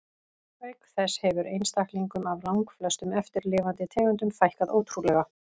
Auk þess hefur einstaklingum af langflestum eftirlifandi tegundum fækkað ótrúlega.